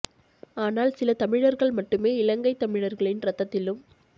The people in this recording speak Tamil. ஆனால் சில தமிழர்கள் மட்டுமே இலங்கைத்தமிழர்களின் இரத்தத்திலும்